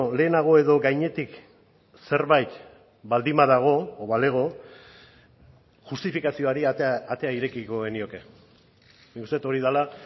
lehenago edo gainetik zerbait baldin badago edo balego justifikazioari atea irekiko genioke nik uste dut hori dela